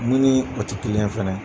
Min ni o tɛ fana ye.